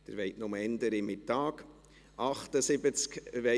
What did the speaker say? Sie wollen nur früher in die Mittagspause.